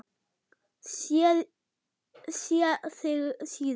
Sé þig síðar.